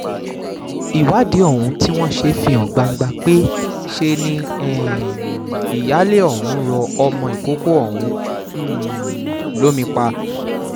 ìwádìí tí wọ́n ṣe fi hàn gbangba pé ṣe ni um ìyáálé ọ̀hún rọ ọmọ ìkọ̀kọ̀ ọ̀hún um lómi pa